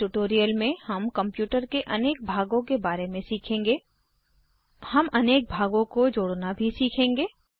इस ट्यूटोरियल में हम कम्प्यूटर के अनेक भागों के बारे में सीखेंगे हम अनेक भागों को जोड़ना भी सीखेंगे